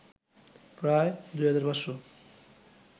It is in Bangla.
প্রায় ২৫০০